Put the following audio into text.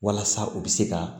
Walasa u bɛ se ka